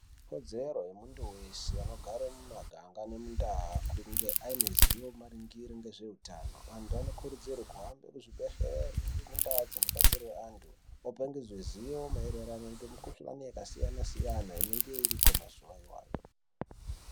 Ikodzero yemuntu wese anogare mumaganga nemundau kunge aine ziwo maringire ngezveutano antu anokurudzirwe kuhambe kuzvibhedhleri nhemundaa dzinobatsirwe antu Vapangidzwe ziwo maererano nemukhuhlani yakasiyana siyana inenge iriko mazuwa iwayo.